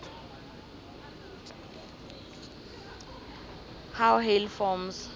how hail forms